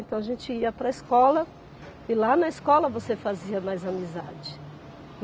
Então a gente ia para a escola e lá na escola você fazia mais amizade.